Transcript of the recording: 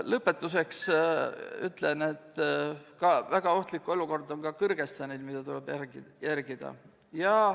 Lõpetuseks ütlen, et väga ohtlik olukord on ka Kõrgõzstanis, mida tuleb jälgida.